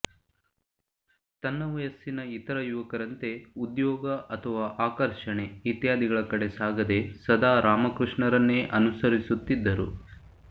ತನ್ನ ವಯಸ್ಸಿನ ಇತರ ಯುವಕರಂತೆ ಉದ್ಯೋಗ ಅಥವಾ ಆಕರ್ಷಣೆ ಇತ್ಯಾದಿಗಳ ಕಡೆ ಸಾಗದೆ ಸದಾ ರಾಮಕೃಷ್ಣರನ್ನೇ ಅನುಸರಿಸುತ್ತಿದ್ದರು